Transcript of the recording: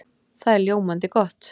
Það er ljómandi gott!